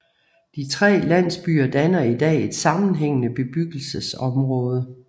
De tre landsbyer danner i dag et sammenhængende bebyggelseområde